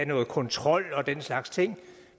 noget kontrol og den slags ting